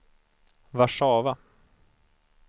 Warszawa